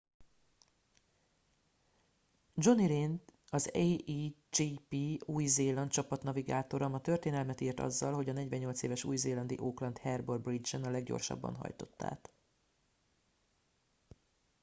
jonny reid az a1gp új zéland csapat navigátora ma történelmet írt azzal hogy a 48 éves új zélandi auckland harbour bridge en a leggyorsabban hajtott át